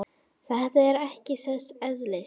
Þetta er ekki þess eðlis.